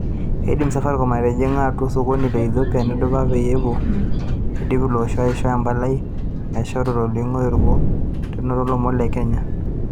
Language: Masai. Eidim Safaricom aitijing atua osokoni le Ethopia nadupa ena peyie edip ilo osho aisho empalai naasishore tolingo orikoo eutaroto o lomon le Kenya.